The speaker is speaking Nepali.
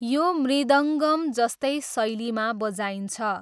यो मृदङ्गम जस्तै शैलीमा बजाइन्छ।